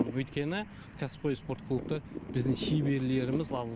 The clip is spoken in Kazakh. өйткені кәсіпқой спорт клубта біздің шеберлеріміз аз